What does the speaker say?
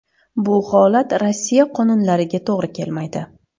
Bu holat Rossiya qonunlariga to‘g‘ri kelmaydi.